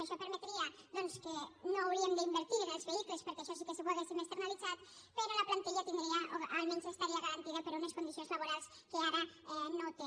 això permetria doncs que no hauríem d’invertir en els vehicles perquè això sí que ho hauríem externalitzat però la plantilla tindria o almenys estaria garantida per unes condicions laborals que ara no té